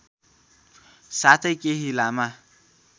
साथै केही लामा